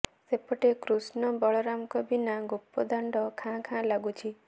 ସେପଟେ କୃଷ୍ଣ ବଳରାମଙ୍କ ବିନା ଗୋପଦାଣ୍ତ ଖାଁ ଖାଁ ଲାଗୁଛି